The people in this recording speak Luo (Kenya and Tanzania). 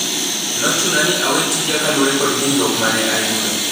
"Nochuna ni awe tija kalure kod hinyruok mane ayudo.